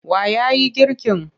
Wa ya yi girkin?